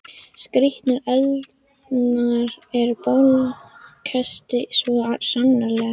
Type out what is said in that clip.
Skrýtnar eldingar og bálkesti, svo sannarlega.